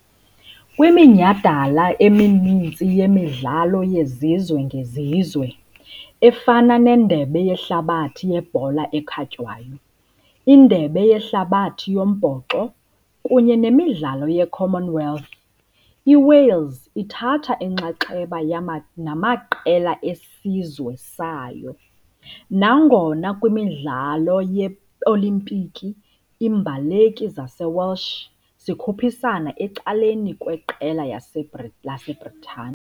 Kwiminyhadala emininzi yemidlalo yezizwe ngezizwe, efana neNdebe yeHlabathi yeBhola ekhatywayo, iNdebe yeHlabathi yoMbhoxo kunye neMidlalo yeCommonwealth, iWales ithatha inxaxheba namaqela esizwe sayo, nangona kwiMidlalo yeOlimpiki iimbaleki zaseWelsh zikhuphisana ecaleni kweqela laseBritane .